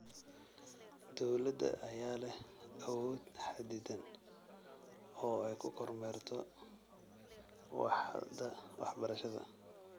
Dowladda ayaa leh awood xaddidan oo ay ku kormeerto waaxda waxbarashada.